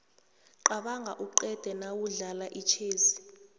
qabanga uqede nawudlala itjhezi